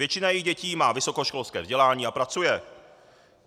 Většina jejich dětí má vysokoškolské vzdělání a pracuje.